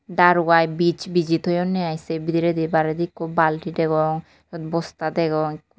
daru aai bij biji thoyunne aai se bidiredi baredi ekku bulti degong sut bosta degong.